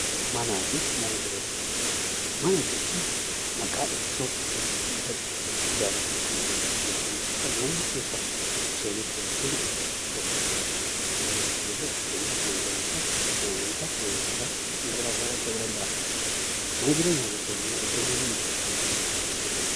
Mana jechuun maqaa iddoo dachee irratti ijaaramuu kan agarsiisu yookaan immoo bakka namni keessa seenuuf yookiin itti galuuf kan agarsiisu yoo ta'u, fakkeenyaaf mana barumsaa, mana amantaa, mana yaalaa fi kan kana fakkaatan ta'uu danda'a. Mana jireenyaa jechuun ammoo iddoo namni jiraatu bakka keessatti.